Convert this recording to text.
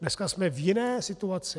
Dneska jsme v jiné situaci.